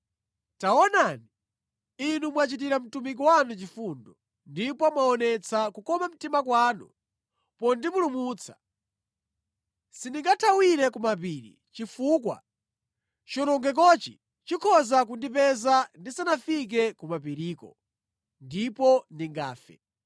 Taonani, Inu mwachitira mtumiki wanu chifundo, ndipo mwaonetsa kukoma mtima kwanu pondipulumutsa. Sindingathawire ku mapiri chifukwa chiwonongekochi chikhoza kundipeza ndisanafike ku mapiriko ndipo ndingafe.